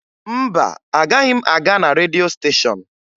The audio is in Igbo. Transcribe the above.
Mba, agaghị m aga na redio stéshọ̀n